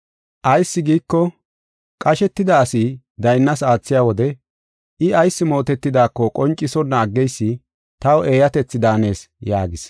Ayis giiko, qashetida asi bolla daynnas aathiya wode I ayis mootetidaako qoncisonna aggeysi taw eeyatethi daanees” yaagis.